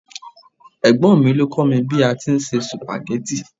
Ẹ̀gbọ́n mi ló kọ́ mi bí a ti ń se sùpàgẹ́tì